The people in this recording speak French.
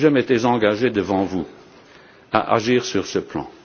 Je m'étais engagé devant vous à agir sur ce plan.